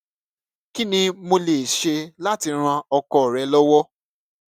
kí ni mo lè ṣe láti ran ọkọ rẹ lọwọ